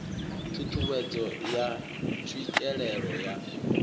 ṱhu ṱhuwedzo ya tswikelelo ya